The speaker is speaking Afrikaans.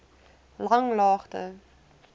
langlaagte